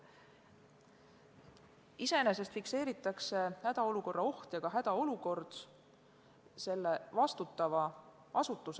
Iseenesest fikseeritakse hädaolukorra oht ja ka hädaolukord vastutavas asutuses.